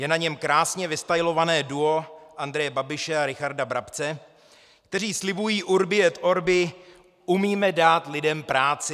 Je na něm krásně vystajlované duo Andreje Babiše a Richarda Brabce, kteří slibují Urbi et orbi: Umíme dát lidem práci.